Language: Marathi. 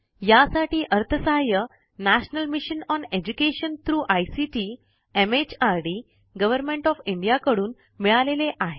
यासाठी अर्थसहाय्य national mission on education through ICT MHRD government of India कडून मिळालेले आहे